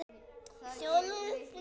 Þjóðlíf og siðir